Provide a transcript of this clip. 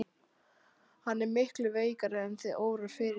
Hann er miklu veikari en þig órar fyrir.